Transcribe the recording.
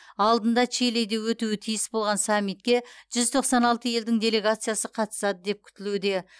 алдында чилиде өтуі тиіс болған саммитке жүз тоқсан алты елдің делегациясы қатысады деп күтілуде